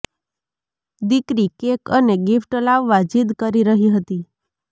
દીકરી કેક અને ગિફ્ટ લાવવા જિદ કરી રહી હતી